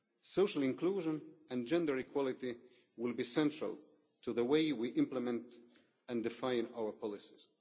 Social inclusion and gender equality will be central to the way we implement and define our policies.